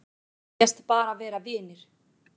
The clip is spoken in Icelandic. Segjast bara vera vinir